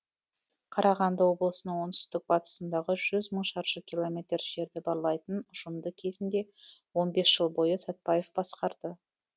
қарағанды облысының оңтүстік батысындағы жүз мың шаршы километр жерді барлайтын ұжымды кезінде он бес жыл бойы сәтбаев басқарды